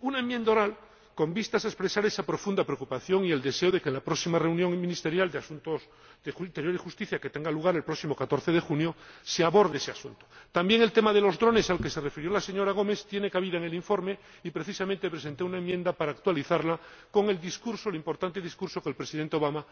una enmienda oral con vistas a expresar esa profunda preocupación y el deseo de que en la próxima reunión ministerial de justicia y asuntos de interior, que tendrá lugar el próximo 14 de junio, se aborde ese asunto. También el tema de los drones, al que se refirió la señora Gomes, tiene cabida en el informe y, precisamente, presenté una enmienda para actualizar este aspecto teniendo en cuenta el importante discurso que el Presidente Obama